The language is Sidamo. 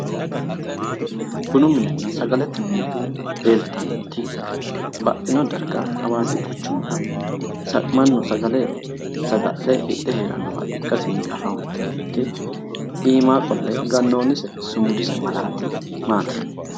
Tenne bunu minenna sagalete mine leeltannoti baxxino darga hawaasi quchumira mannu sagale saga'le hidhe heerannowa afantannoti iima qolle gannoonni sumudise malaati maati?